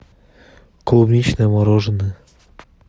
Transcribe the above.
клубничное мороженое